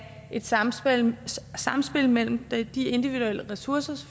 et samspil samspil mellem de individuelle ressourcer